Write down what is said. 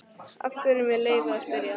Af hverju, með leyfi að spyrja?